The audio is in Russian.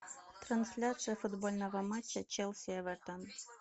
трансляция футбольного матча челси эвертон